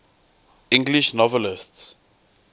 english novelists